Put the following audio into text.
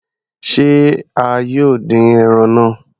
Se a yóò dín ẹran náà?